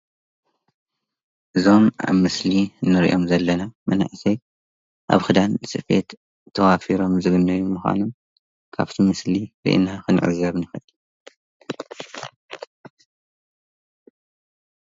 እዞም ኣብ ምስሊ እንሪኦም ዘለና መናእሰይ ኣብ ኽዳን ስፌት ተዋፊሮም ዝግነዩ ምዃኖም ካብቲ ምስሊ ሪኢና ክንዕዘብ ንኽእል፡፡